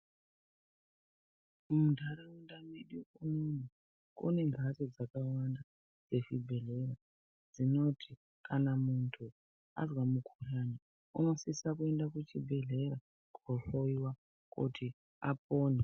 Muntaraunda medu unono kune mbatso dzakawanda dzezvibhedhlera dzinoto kana munhu azwa mukhuhlani unosisa kuenda kuchibhedhlera kohloiwa kuti apone.